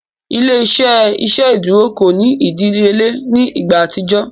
Ile-iṣẹ iṣeduro ko ni idiyele ni igba atijọ.